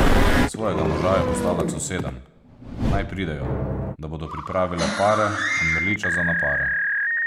Svojega moža je poslala k sosedam, naj pridejo, da bodo pripravile pare in mrliča za na pare.